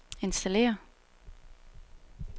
installere